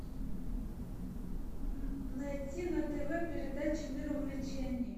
найди на тв передачу мир увлечений